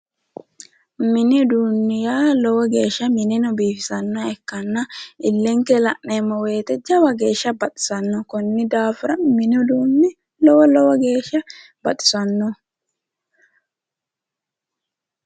Mini uduunni yaa lowo geeshsha mineno biifisannoha ikkanna illenke la'neemmo woyite jawa geeshshsa baxisanno konni daafira mini uduunni lowo lowo geeshsha baxisanno